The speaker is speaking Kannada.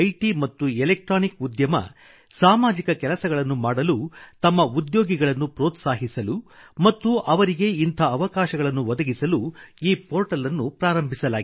ಮತ್ತು ಎಲೆಕ್ಟ್ರಾನಿಕ್ಸ್ ಉದ್ಯಮ ಸಾಮಾಜಿಕ ಕೆಲಸಗಳನ್ನು ಮಾಡಲು ತಮ್ಮ ಉದ್ಯೋಗಿಗಳನ್ನು ಪ್ರೊತ್ಸಾಹಿಸಲು ಮತ್ತು ಅವರಿಗೆ ಇಂಥ ಅವಕಾಶಗಳನ್ನು ಒದಗಿಸಲು ಈ ಪೋರ್ಟಲ್ ನ್ನು ಪ್ರಾರಂಭಿಸಲಾಗಿದೆ